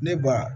Ne ba